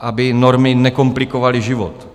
aby normy nekomplikovaly život.